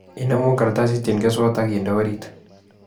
Inemu kartsit eng keswot akinde oriit